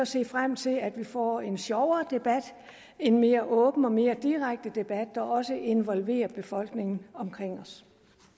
se frem til at vi får en sjovere debat en mere åben og mere direkte debat der også involverer befolkningen omkring os